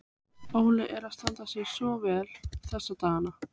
Óli er að standa sig svo vel þessa dagana.